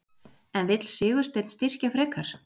En vill Sigursteinn styrkja frekar?